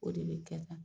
O de bɛ kɛ tan